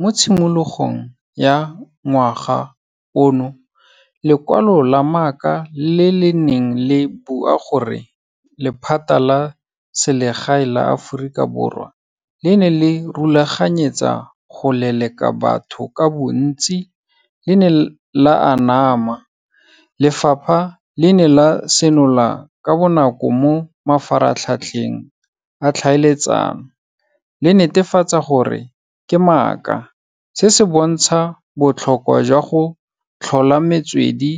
Mo tshimologong ya ngwaga ono, lekwalo la maaka le le neng le bua gore lephata la selegae la Aforika Borwa, le ne le rulaganyetsa go leleka batho ka bontsi. Le ne la anama. Lefapha le ne la senola ka bonako mo mafaratlhatlheng a tlhaeletsano, le netefatsa gore ke maaka. Se se bontsha botlhokwa jwa go tlhola metswedi